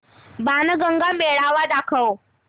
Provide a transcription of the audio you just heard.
बाणगंगा मेळावा दाखव